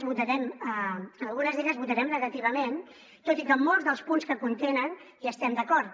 en algunes d’elles votarem negativament tot i que en molts dels punts que contenen hi estem d’acord